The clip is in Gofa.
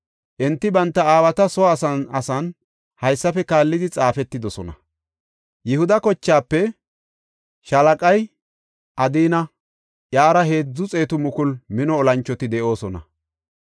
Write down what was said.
Enti banta aawata soo asan asan haysafe kaallidi xaafetidosona. Yihuda kochaafe shaalaqay Adina; iyara heedzu xeetu mukulu mino olanchoti de7oosona.